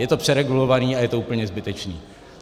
Je to přeregulované a je to úplně zbytečné.